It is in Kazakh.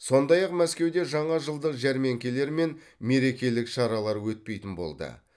сондай ақ мәскеуде жаңа жылдық жәрмеңкелер мен мерекелік шаралар өтпейтін болды